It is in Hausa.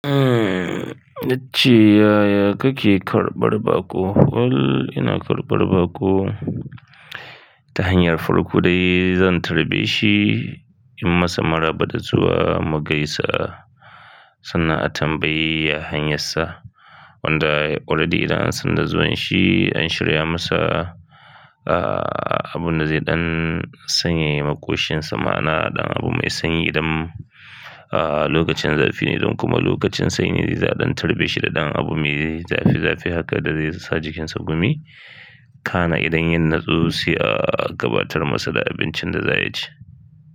Eh, yace "Yaya kake karɓar baƙo?" ina karɓar baƙo ta hanyar farko dai zan karbe shi, inyi masa maraba da zuwa, mu gaisa, sannan a tambayi a hanyarsa. Wanda waɗanne idan an san da zuwan shi, an shirya masa, ah, abun da zai ɗan sanye makoshinsa, ma'ana ɗan abu mai sanyi idan, ah, lokacin zafi ne don kuma lokacin sanyi ne zai ɗan tarbe shi da ɗan abu me zafi zafi haka da zai sa jikinsa gumi. Kana idan yin nutsuwa, ah, gabatar masa da abincin da za a ci.